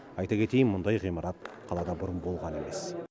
айта кетейін мұндай ғимарат қалада бұрын болған емес